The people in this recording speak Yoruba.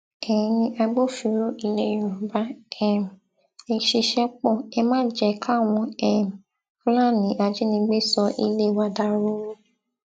ẹyin agbófinró ilẹ yorùbá um ẹ ṣiṣẹ pó ẹ má jẹ káwọn um fúlàní ajínigbé sọ ilé wa dahoro